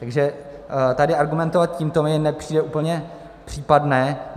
Takže tady argumentovat tímto mi nepřijde úplně případné.